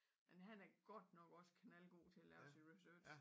Men han er godt nok også knaldgod til at lave sin research